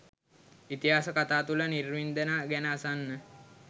ඉතිහාස කතා තුල නිර්වින්දනය ගැන අසන්න